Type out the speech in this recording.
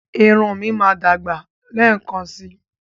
Irun mi máa dàgbà lẹ́ẹ̀kan síi.